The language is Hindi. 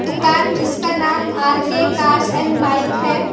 दुकान जिसका नाम R K cars and bike है।